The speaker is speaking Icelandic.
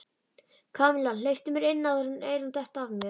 Kamilla, hleyptu mér inn áður en eyrun detta af mér